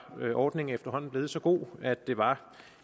ordningen efterhånden blevet så god at det var